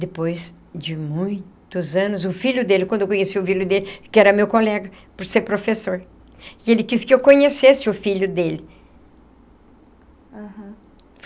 Depois de muitos anos, o filho dele, quando eu conheci o filho dele, que era meu colega, por ser professor, ele quis que eu conhecesse o filho dele. Aham.